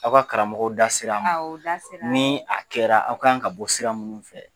Aw ka karamɔgɔ da sera a ma aw u da sera a ma ni a kɛra aw kan ka bɔ sira minnu fɛ